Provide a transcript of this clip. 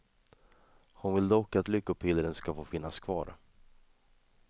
Hon vill dock att lyckopillren ska få finnas kvar.